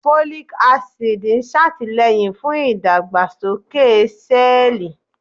Folic Acid máa ń ṣàtìlẹ́yìn fún ìdàgbàsókè sẹ́ẹ̀lì